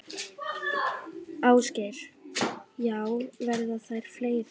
Ásgeir: Já, verða þær fleiri?